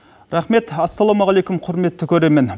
рахмет ассалаумағалейкум құрметті көрермен